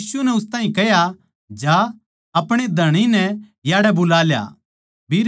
यीशु नै उस ताहीं कह्या जा अपणे धणी नै याड़ै बुला ल्या